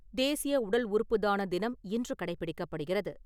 தேசிய உடல் உறுப்புதான தினம் இன்று கடைபிடிக்கப்படுகிறது .